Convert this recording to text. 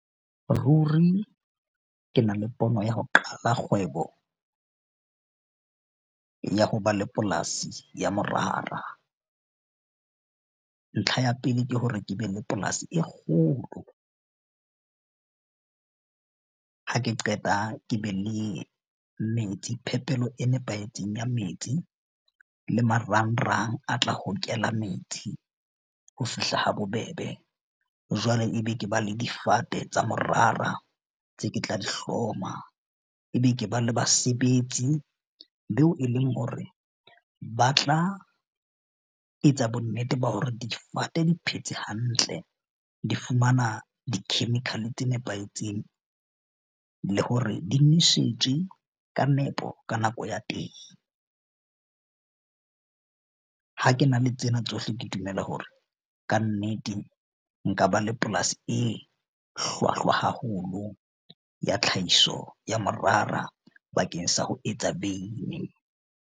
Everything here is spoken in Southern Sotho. Ruri ke na le pono ya ho qala kgwebo ya ho ba le polasi ya morara. Ntlha ya pele ke hore ke be le polasi e kgolo ha ke qeta ke be le metsi. Phepelo e nepahetseng ya metsi le marangrang a tla hokela metsi ho fihla ha bobebe. Jwale ebe ke ba le difate tsa morara tse ke tla di hloma, ebe ke ba le basebetsi beo, e leng hore ba tla etsa bonnete ba hore difate di phetse hantle, di fumana di-chemical tse nepahetseng le hore di nosetswe ka nepo ka nako ya teng. Ha ke na le tsena tsohle, ke dumela hore kannete nka ba le polasi e hlwahlwa haholo ya tlhahiso ya morara bakeng sa ho etsa veini.